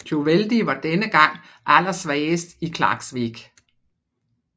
Tjóðveldi var denne gang allersvagest i Klaksvík